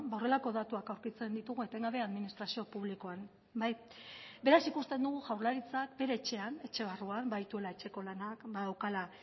horrelako datuak aurkitzen ditugu etengabe administrazio publikoan beraz ikusten dugu jaurlaritzak bere etxean etxe barruan badituela etxeko lanak badaukala